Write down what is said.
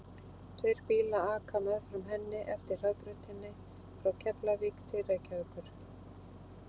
Tveir bílar aka meðfram henni eftir hraðbrautinni frá Keflavík til Reykjavíkur.